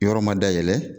Yɔrɔ ma dayɛlɛ